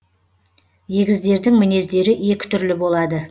егіздердің мінездері екі түрлі болады